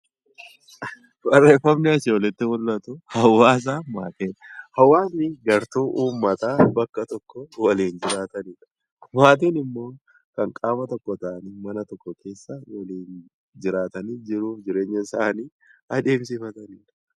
Hawaasni gartuu uummataa bakka tokko jiraatan maatiin immoo mana tokko keessa kan waliin jiraatanii fi jiruu fi jireenya isaanii adeemsifatan jechuudha.